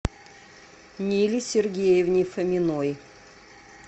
ниле сергеевне фоминой